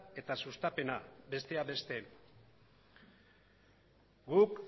eta sustapena besteak beste guk